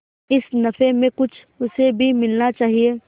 इस नफे में कुछ उसे भी मिलना चाहिए